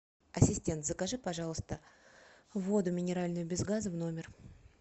ассистент закажи пожалуйста воду минеральную без газа в номер